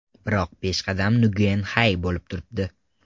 Biroq peshqadam Nguyen Xai bo‘lib turibdi.